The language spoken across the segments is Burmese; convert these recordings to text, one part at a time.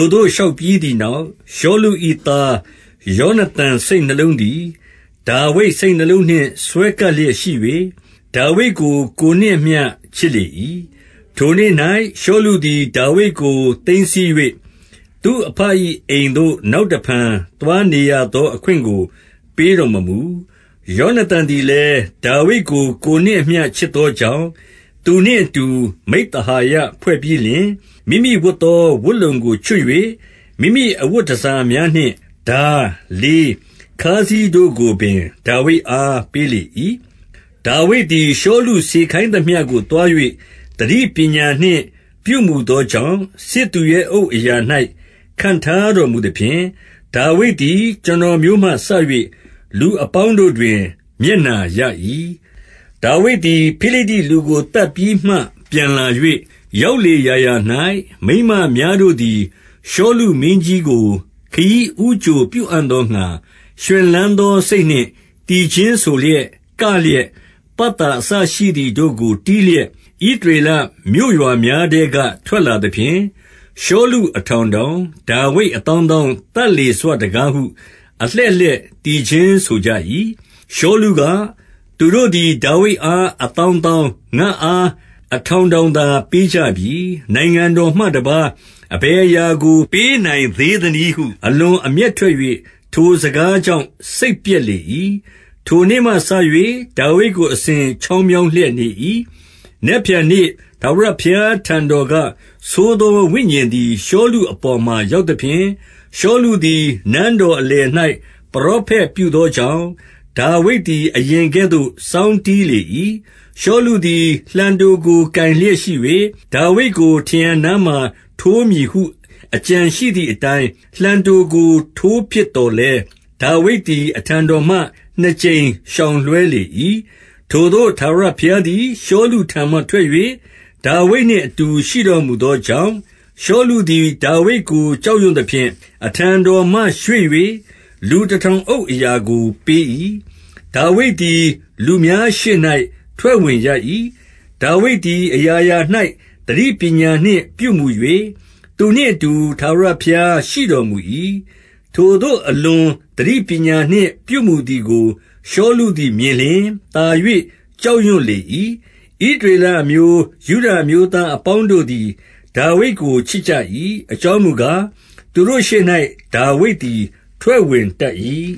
ိုသို့ လျှောက်ပြီးသည်နောက်၊ ရှောလု၏ သားယောနသန် စိတ်နှလုံးသည် ဒါဝိဒ်စိတ်နှလုံးနှင့် စွဲကပ်လျက် ရှိ၍ ဒါဝိဒ်ကို ကိုယ်နှင့်အမျှချစ်လေ၏။ ထိုနေ့၌ ရှောလုသည် ဒါဝိဒ်ကို သိမ်းဆည်း၍ သူ့အဘ၏အိမ်သို့ နောက်တဖန် သွားနေရသော အခွင့်ကို ပေးတော်မမူ။ ယောနသန်သည်လည်း၊ ဒါဝိဒ်ကို ကိုယ်နှင့်အမျှ ချစ်သောကြောင့် သူနှင့်အတူ မိဿဟာယ ဖွဲ့ပြီးလျှင်၊- မိမိဝတ်သော ဝတ်လုံကို ချွတ်၍ မိမိအဝတ်တန်ဆာများနှင့် ထား၊ လေး၊ ခါးစည်းတို့ကိုပင် ဒါဝိဒ်အား ပေးလေ၏။ ဒါဝိဒ်သည် ရှောလုစေခိုင်းသမျှကို သွား၍ သတိပညာနှင့်ပြုမှုသောကြောင့်၊ စစ်သူရဲအုပ်အရာ၌ ခန့်ထားတော်မူသဖြင့်၊ ဒါဝိဒ်သည် ကျွန်တော်မျိုးမှစ၍ လူအပေါင်းတို့တွင် မျက်နှာရ၏။ ဒါဝိဒ်သည် ဖိလိတ္တိလူကို သတ်ပြီးမှ ပြန်လာ၍၊ ရောက်လေရာရာ၌ မိန်းမများတို့သည် ရှောလုမင်း ကြီးကို ခရီးဦးကြိုပြုအံ့သောငှါ ရွှင်လန်းသောစိတ်နှင့် သီချင်းဆိုလျက်၊ ကလျက်၊ ပတ်သောအစရှိ သည်တို့ကို တီးလျက်၊ ဣသရေလမြို့ရွာများထဲက ထွက်လာသဖြင့်၊ ရှောလု အထောင်ထောင်၊ ဒါဝိဒ် အသောင်းသောင်း သတ်လေစွတကားဟု အလှည့်လှည့် သီချင်းဆိုကြ၏။ ရှောလုက၊ သူတို့သည် ဒါဝိဒ်အား အသောင်းသောင်း၊ ငါ့အား အထောင်ထောင်သာ ပေးကြပြီ။ နိုင်ငံတော်မှတပါး အဘယ်အရာကို ပေးနိုင်သေးသနည်းဟု အလွန်အမျက်ထွက်၍ ထိုစကားကြောင့် စိတ်ပျက်လေ၏။ ထိုနေ့မှစ၍ ဒါဝိဒ်ကို အစဉ်ချောင်းမြောင်းလျက် နေ၏။ နက်ဖြန်နေ့ထာဝရဘုရားထံတော်က၊ ဆိုးသောဝိညာဉ်သည် ရှောလုအပေါ်မှာရောက်သဖြင့်၊ ရှောလု သည် နန်းတော်အလယ်၌ ပရောဖက်ပြုသောကြောင့်၊ ဒါဝိဒ်သည် အရင်ကဲ့သို့ စောင်းတီးလေ၏။ ရှောလုသည် လှံတို့ကို ကိုင်လျက်ရှိ၍၊- ဒါဝိဒ်ကို ထရံနားမှာထိုးမည်ဟု အကြံရှိသည်အတိုင်း လှံတို့ကို ထိုးပစ်သော်လည်း၊ ဒါဝိဒ်သည် အထံတော်မှ နှစ်ကြိမ်ရှောင်လွှဲလေ၏။ ထိုသို့ ထာဝရဘုရားသည် ရှောလုထံမှထွက်၍ ဒါဝိဒ်နှင့်အတူ ရှိတော်မူသောကြောင့်၊ ရှောလုသည် ဒါဝိဒ်ကို ကြောက်ရွံ့သဖြင့်၊- အထံတော်မှ ရွှေ့၍ လူတထောင်အုပ်အရာကို ပေး၏။ ဒါဝိဒ်သည် လူများရှေ့၌ ထွက်ဝင်ရ၏။ ဒါဝိဒ်သည် အရာရာ၌ သတိပညာနှင့်ပြုမူ၍ သူနှင့်အတူ ထာဝရဘုရားရှိတော်မူ၏ ထိုသို့ အလွန်သတိပညာနှင့် ပြုမူသည်ကို ရှောလုသည် မြင်လျှင် သာ၍ ကြောက်ရွံ့လေ၏။ ဣသရေလအမျိုး၊ ယုဒအမျိုးသားအပေါင်းတို့သည် ဒါဝိဒ်ကို ချစ်ကြ၏။ အကြောင်းမူကား၊ သူတို့ ရှေ့၌ ဒါဝိဒ်သည် ထွက်ဝင်တတ်၏။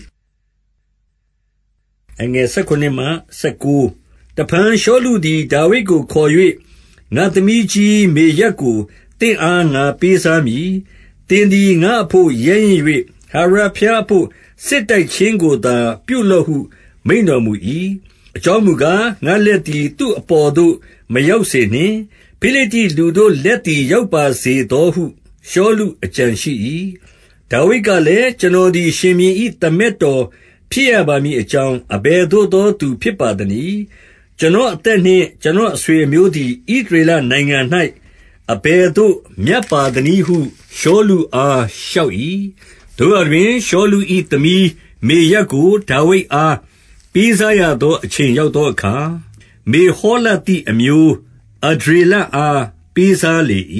တဖန်ရှောလုသည် ဒါဝိဒ်ကိုခေါ်၍ ငါ့သမီးကြီး မေရပ်ကို သင့်အား ငါပေးစားမည်။ သင်သည် ငါ့အဘို့ ရဲရင့်၍ ထာဝရဘုရားအဘို့ စစ်တိုက်ခြင်းကိုသာ ပြုလော့ဟု မိန့်တော်မူ၏။ အကြောင်းမူကား၊ ငါ့လက်သည် သူ့အပေါ်သို့ မရောက်စေနှင့်။ ဖိလိတ္တိလူတို့ လက်သည် ရောက်ပါစေသောဟု ရှောလု အကြံရှိ၏။ ဒါဝိဒ်ကလည်း၊ ကျွန်တော်သည် ရှင်ဘုရင်၏ သမက်တော်ဖြစ်ရပါမည်အကြောင်း အဘယ်သို့သော သူဖြစ်ပါသနည်း။ ကျွန်တော်အသက်နှင့် ကျွန်တော် အဆွေအမျိုးသည်၊ ဣသရေလနိုင်ငံ၌ အဘယ်သို့ မြတ်ပါသနည်းဟု ရှောလုအား လျှောက်၏။ သို့ရာတွင်၊ ရှောလု၏သမီး မေရပ်ကို ဒါဝိဒ်အား ပေးစားရသော အချိန်ရောက်သောအခါ၊ မေဟော လသိအမျိုး အဒြေလအား ပေးစားလေ၏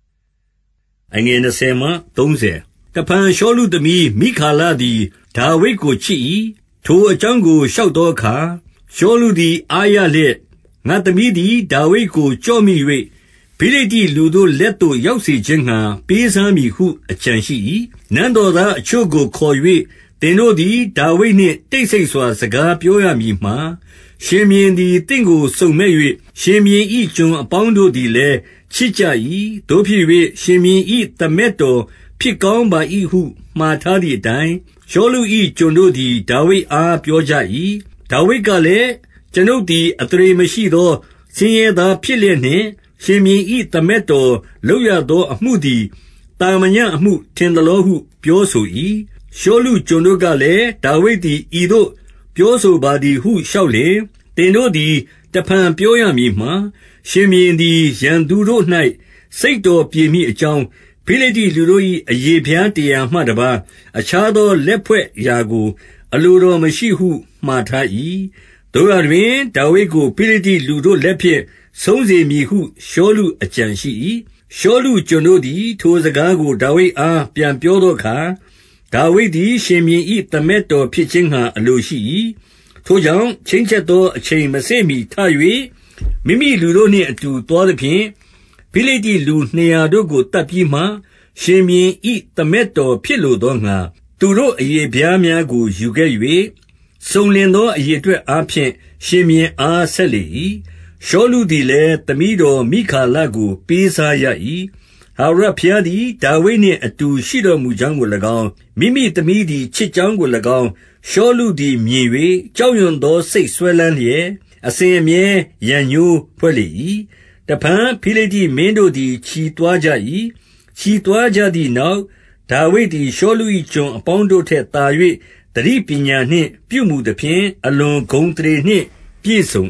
။ တဖန် ရှောလုသမီး မိခါလသည် ဒါဝိဒ်ကို ချစ်၏။ ထိုအကြောင်းကို လျှောက်သောအခါ၊ ရှောလု သည် အားရလျက်၊- ငါ့သမီးသည် ဒါဝိဒ်ကိုကျော့မိ၍ ဖိလိတ္တိလူတို့ လက်သို့ ရောက်စေခြင်းငှါ ပေးစားမည်ဟု အကြံရှိ၏။ နန်းတော်သားအချို့ကို ခေါ်၍၊ သင်တို့သည် ဒါဝိဒ်နှင့် တိတ်ဆိတ်စွာ စကားပြောရမည်မှာ၊ ရှင်ဘုရင် သည် သင့်ကို စုံမက်၍၊ ရှင်ဘုရင်၏ ကျွန်အပေါင်းတို့သည်လည်း ချစ်ကြ၏။ သို့ဖြစ်၍ ရှင်ဘုရင်၏ သမက်တော်ဖြစ်ကောင်းပါ၏ဟု မှာထားသည်အတိုင်း၊- ရှောလု၏ ကျွန်တို့သည် ဒါဝိဒ်အား ပြောကြ၏။ ဒါဝိဒ်ကလည်း၊ ကျွန်ုပ်သည် အသရေမရှိသော ဆင်းရဲသားဖြစ်လျက်နှင့် ရှင်ဘုရင်၏ သမက်တော်လုပ်ရသောအမှုသည် သာမညအမှု ထင် သလောဟု ပြောဆို၏။ ရှောလုကျွန်တို့ကလည်း၊ ဒါဝိဒ်သည် ဤသို့ပြောဆိုပါသည်ဟု လျှောက်လျှင်၊- သင်တို့သည် တဖန်ပြောရမည်မှာ၊ ရှင်ဘုရင်သည် ရန်သူတို့၌ စိတ်တော်ပြေမည်အကြောင်း၊ ဖိလိတ္တိ လူတို့၏ အရေဖျားတရာမှ တပါးအခြားသော လက်ဖွဲ့ရာကို အလိုတော်မရှိဟု မှာထား၏။ သို့ရာတွင် ဒါဝိဒ်ကို ဖိလိတ္တိလူတို့လက်ဖြင့် ဆုံးစေမည်ဟု ရှောလုအကြံရှိ၏။ ရှောလု ကျွန်တို့သည် ထိုစကားကို ဒါဝိဒ်အား ပြန်ပြောသောအခါ၊ ဒါဝိဒ်သည် ရှင်ဘုရင်၏ သမက် တော်ဖြစ်ခြင်းငှါ အလိုရှိ၏။ ထို့ကြောင့် ချိန်းချက်သော အချိန်မစေ့မှီထ၍၊- မိမိလူတို့နှင့်အတူသွားသဖြင့်၊ ဖိလိတ္တိ လူနှစ်ရာတို့ကို သတ်ပြီးမှ၊ ရှင်ဘုရင်၏ သမက်တော် ဖြစ်လို သောငှါ၊ သူတို့အရေဖျားများကို ယူခဲ့၍၊ စုံလင်သော အရေအတွက်အားဖြင့် ရှင်ဘုရင်အား ဆက် လေ၏။ ရှောလုသည်လည်း သမီးတော်မိခါလကို ပေးစားရ၏။ ထာဝရဘုရားသည် ဒါဝိဒ်နှင့်အတူ ရှိတော်မူကြောင်းကို၎င်း၊ မိမိသမီးသည် ချစ်ကြောင်းကို၎င်း၊ ရှောလုသည် မြင်၍၊- ကြောက်ရွံ့သော စိတ်စွဲလမ်းလျက် အစဉ်အမြဲ ရန်ငြိုးဖွဲ့လေ၏။ တဖန် ဖိလိတ္တိမင်းတို့သည် ချီသွားကြ၏။ ချီသွားကြသည်နောက် ဒါဝိဒ်သည် ရှောလု၏ ကျွန်အပေါင်း တို့ထက်သာ၍ သတိပညာနှင့် ပြုမှုသဖြင့် အလွန်ဂုဏ်အသရေနှင့် ပြည့်စုံ